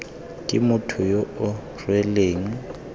ke motho yo o rweleng